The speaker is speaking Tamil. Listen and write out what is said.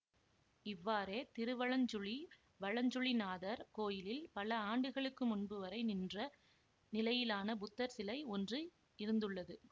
இவ்வாறே திருவலஞ்சுழி வலஞ்சுழிநாதர் கோயிலில் பல ஆண்டுகளுக்கு முன்பு வரை நின்ற நிலையிலான புத்தர் சிலை ஒன்று இருந்துள்ளது